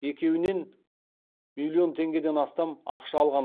екеуінен миллион теңгеден астам ақша алған